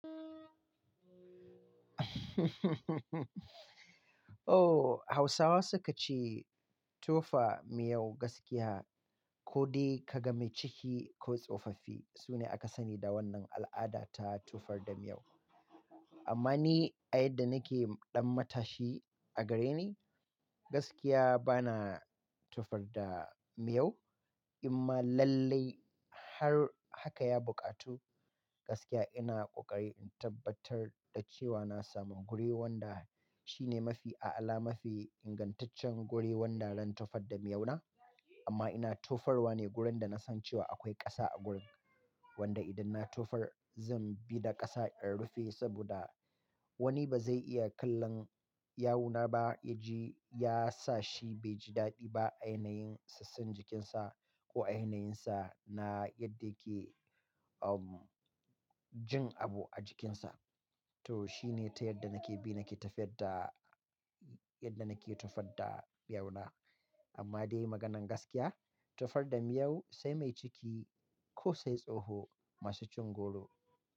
Oh, Hausawa suka ce tofa miyau gaskiya ko dai kaga mai ciki ko tsofaffi, sune aka sani da wannan al'ada ta tofar da miyau. Amma ni a yadda nake ɗan matashi a gare ni, gaskiya bana tofar da miyau. Amma lallai har haka ya buƙatu gaskiya ina ƙoƙari in tabbatar da cewa na samu guri wanda shi ne mafi a'ala, mafi ingantaccen guri wanda zan tofa da miyau na. Amma ina tofar wa ne gurin da na san cewa akwai ƙasa a gurin, wanda idan na tofar zan bi da ƙasa in rufe saboda wani ba zai iya kallon yawuna ba yaji, ya sa shi bai ji daɗi ba a yanayin sassan jikinsa ko a yanayinsa na yadda yake, um, jin abu a jikinsa. To shi ne ta yadda nake bi nake tafiyar da, yadda nake tofar da miyau na. Amma dai maganan gaskiya, tofar da miyau sai mai ciki ko sai tsoho masu cin goro.